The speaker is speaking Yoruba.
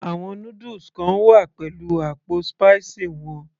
àwọn noodles kan wá pẹ̀lú àpò spicy wọn